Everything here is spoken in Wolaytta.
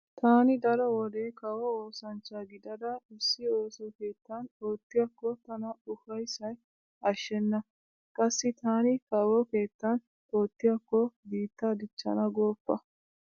Taani daro wode kawo oosanchcha gidada issi ooso keettan oottiyakko tana ufayssay ashshenna. Qassi taani kawo keettan oottiyakko biittaa dichchana gooppa.